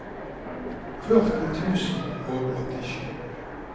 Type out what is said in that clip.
førti tusen og åttisju